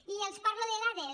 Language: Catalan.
i els parlo de dades